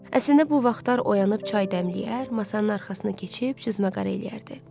Əslində bu vaxtlar oyanıb çay dəmləyər, masanın arxasına keçib cüzmə qarı eləyərdi.